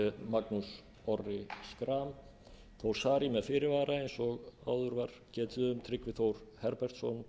magnús orri schram þór saari með fyrirvara eins og áður var getið um tryggvi þór herbertsson